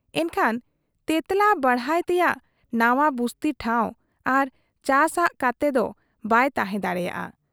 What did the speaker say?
ᱮᱱᱠᱷᱟᱱ ᱛᱮᱸᱛᱞᱟ ᱵᱟᱲᱦᱟᱭ ᱛᱮᱭᱟᱜ ᱱᱟᱣᱟ ᱵᱩᱥᱛᱤ ᱴᱷᱟᱶ ᱟᱨ ᱪᱟᱥᱻᱟᱜ ᱠᱟᱛᱮ ᱫᱚ ᱵᱟᱭ ᱛᱟᱦᱮᱸ ᱫᱟᱲᱮᱭᱟᱫ ᱟ᱾